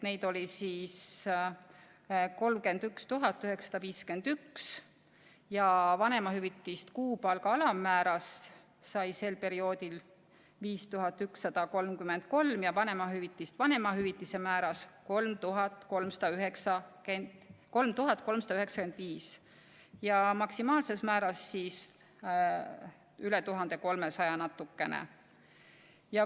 Neid oli siis 31 951 ja vanemahüvitist kuupalga alammäära alusel sai sel perioodil 5133 ja vanemahüvitist vanemahüvitise määras 3395 ja maksimaalses määras üle 1300 natukene.